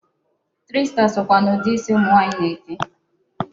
Three star sokwa n'ụdị isi ụmụ nwaanyị na-eke.